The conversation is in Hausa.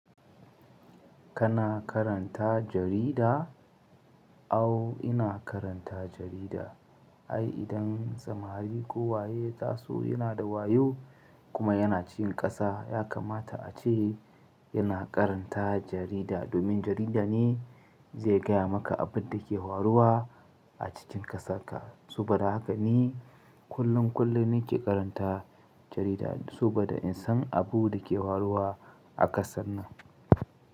Kana karanta jarida? Awo ina karanta jarida. Ai idan samari ko waye taso yana da wayo kuma yana cikin kasa, ya kamata a ce yana karanta jarida. Domin jarida ne mai gaya maka abin da ke faruwa a cikin ƙasarka. Saboda haka ni kullum kullum nike karanta jarida, saboda in san abun da ke faruwa a kasar nan.